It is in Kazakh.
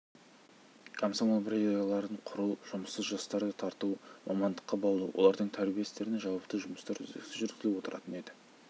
бұл жұмыстарды жылдардың аралығында атқарып кеңестік идеологияның негізінде қызу қайнаған еңбектің бел ортасында жүрді